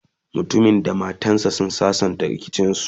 mutumin da matan sa sun sassanta rikicin su